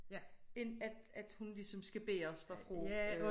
End at at hun ligesom skal bæres derfra og